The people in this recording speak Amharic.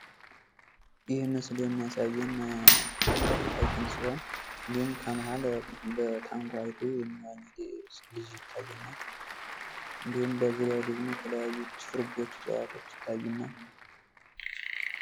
ይህ ምስል የሚያሳየን ትልቅ ሀይቅን ሲሆን እንዲሁም ከመሀል በታንኳይቱ የሚዋኝ ልጅ ይታየናል ።አንዲሁም በዙሪያው ደግሞ የተለያዩ ችፍርጎች ዕፅዋቶች ይታዩናል ።